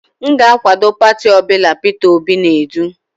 M ga-akwado pati ọ bụla Peter Obi na-edu.